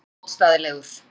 Hann var ómótstæðilegur.